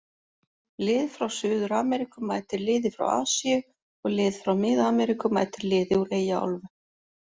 Lið frá Suður-Ameríku mætir liði frá Asíu og lið frá mið-Ameríku mætir liði úr Eyjaálfu.